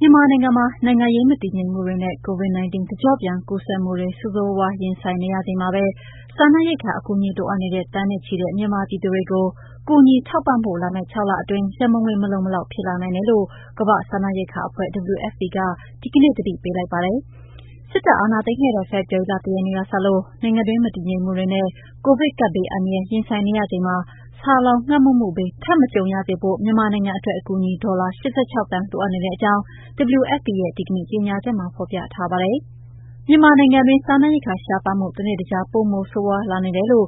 မြန်မာနိုင်ငံမှာ နိုင်ငံရေးမတည်ငြိမ်မှုတွေနဲ့ COVID-19 တကျော့ပြန်ကူးစက်မှုတွေ ဆိုးဆိုးရွားရွား ရင်ဆိုင်နေရချိန်မှာပဲ စားနပ်ရိက္ခာ အကူအညီလိုအပ်နေတဲ့ သန်းနဲ့ ချီတဲ့ မြန်မာပြည်သူတွေကို ကူညီထောက်ပံ့ဖို့ လာမယ့် ၆ လအတွင်း ရန်ပုံငွေ မလုံမလောက် ဖြစ်လာနိုင်တယ်လို့ ကမ္ဘာ့ စားနပ်ရိက္ခာအဖွဲ့ (WFP) က ဒီကနေ့ သတိပေးလိုက်ပါတယ်။ စစ်တပ်အာဏာသိမ်းခဲ့တဲ့ ဖေဖော်ဝါရီလ ၁ ရက်နေ့ကစလို့ နိုင်ငံတွင်း မတည်ငြိမ် မှုတွေနဲ့ ကိုဗစ်ကပ်ဘေးအန္တရာယ် ရင်ဆိုင်နေရချိန်မှာ ဆာလောင်ငတ်မွတ်မှုဘေး ထပ်မကြုံရစေဖို့ မြန်မာနိုင်ငံအတွက် အကူအညီ ဒေါ်လာ (၈၆) သန်း လိုအပ်နေတဲ့အကြောင်း WFP ရဲ့ ဒီကနေ့ကြေညာချက်မှာ ဖော်ပြထားပါတယ်။ မြန်မာနိုင်ငံအတွင်း စားနပ်ရိက္ခာရှားပါးမှု တနေ့တခြား ပိုမိုဆိုးရွားလာနေတယ်လို့